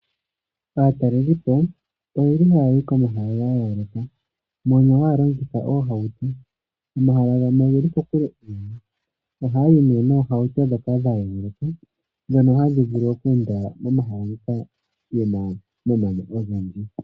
Aatalelipo oyeli haya yi komahala ga yooloka mono haya longitha oohauto. Omahala gamwe ogeli kokule ohaya yi nee noohauto ndhoka dhayeluka. Ndhono hadhi vulu oku enda momahala moka muna omamanya ogendji.